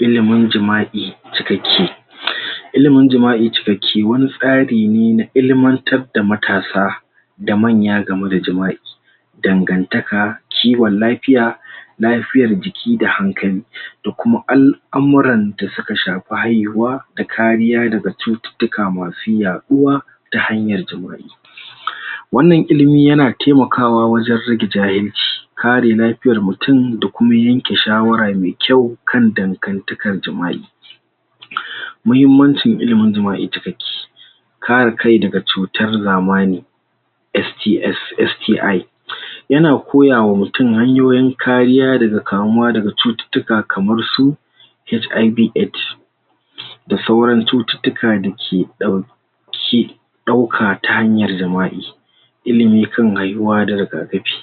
Ilimin jama'i, cikake ilimin jama'i cikake, wani tsari ne na ilimantar da matasa da manya gane da jama'i dangantaka, kiwon lafiya lafiyar jiki da hankali da kuma al'amurar da su ka shafa hayiwa da kariya da ga cututka masu yaɗuwa da hanyar jama'i. Wannan ilimi ya na taimakawa wajen rage jahilci kare lafiyar mutum da kuma yanke shawara me kyau kan dankantakan jama'i muhimmancin ilimin jama'i cikake kara kai da ga cutar zamani SKS, SKI Ya na koyawa mutum hanyoyin kariya da ga kamuwa da ga cututuka kamar su HIV AIDS da sauran cututukar da ke dauke dauka ta hanyar jama'i ilimi kan rayuwa da rigakafi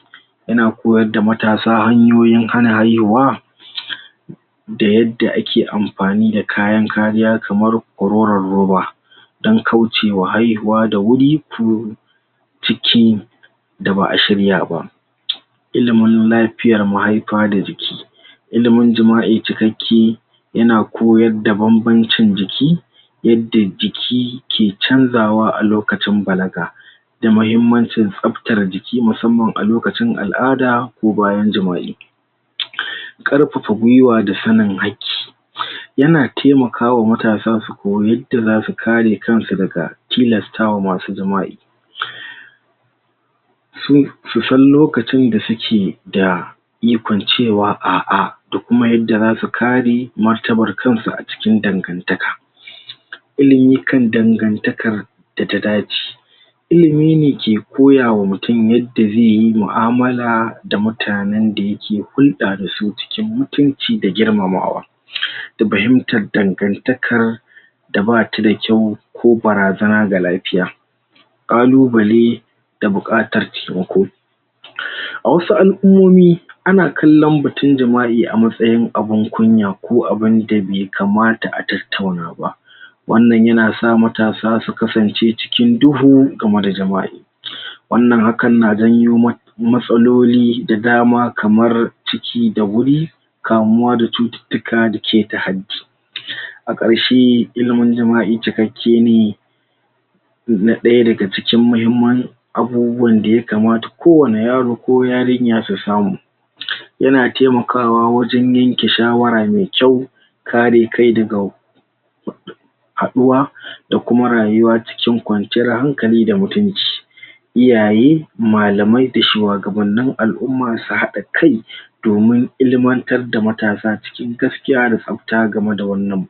ya na koyar da matasa hanyoyin hana haihuwa da yadda a ke amfani da kayan kariya kamar roba don kauce wa haihuwa da wuri ciki da ba'a shirya ba ilimin lafiyar mahaifa da jiki ilimin jama'i cikake ya na koyar da banbancin jiki yadda jiki ke canzawa a lokacin balaga da mahimmancin sabtar jiki musamman a lokacin al'ada ko bayan juma'i. Karfafa gwiwa da tsanin haƙi ya na taimakawa matasa su koyi yadda za su kare kan su da ga tilastawa ma su jamai. Sun su san lokacin da su ke da ikon cewa a'ah da kuma yadda za su kare matabar kansa a cikin dangantaka ilimi kan dangantakar da ta dace, ilimi ne ke koyawa mutum yadda ze yi mu'amala da mutanen da ya ke kulda da su cikin mutunci da girmamawa da fahimtar dagantakar da ba ta da kyau, ko barazana ga lafiya kalubali, da bukatar taimako a wasu al'umomi a na kallon batun jama'i a matsayin abun kunya ko abun da be kamata a tatauna ba Wannan ya na samun matasa su kasance cikin duhu gama da jama'i. Wannan hakan na janyo ma matsaloli da dama kamar ciki da wuri kamuwa da cututuka dake da haji a karshe ilimin jama'i cikake ne na daya da ga cikin mahimman abubuwan da ya kamata ko wane yaro ko yarinya ta samu ya na taimakawa wajen yanke shawara mai kyau kare kai daga haduwa da kuma rayuwa cikin kwanciyar hankali da mutunci iyaye, mallamai da shuagabanin al'umma su hada kai domin ilimantar da matasa cikin gaskiya da sabta game da wannan